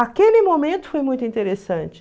Aquele momento foi muito interessante.